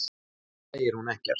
Og samt segir hún ekkert.